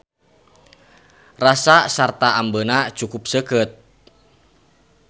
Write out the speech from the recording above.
Rasa sarta ambeuna cukup seukeut.